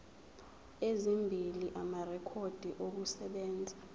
ezimbili amarekhodi okusebenza